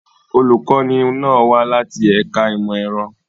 Olùkọ́ni náà wá láti ẹ̀ka ìmọ̀ ẹ̀rọ.